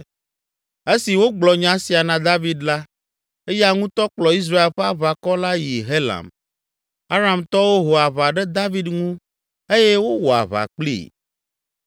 Esi wogblɔ nya sia na David la, eya ŋutɔ kplɔ Israel ƒe aʋakɔ la yi Helam. Aramtɔwo ho aʋa ɖe David ŋu eye wowɔ aʋa kplii.